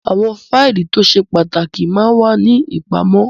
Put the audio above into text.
Àwọn fáìlì tó ṣe pàtàkì máa ń wà ní ìpamọ́